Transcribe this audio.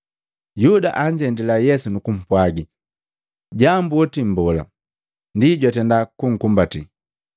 Yuda anzendila Yesu nukupwagi, “Jambu otii Mbola!” Ndi jwatenda kukumbati.